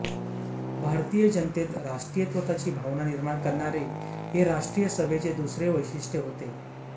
भारतीय जनतेत राष्ट्रीयत्वाची भावना निर्माण करणे हे राष्ट्रीय सभेचे दुसरे वैशिष्टय होते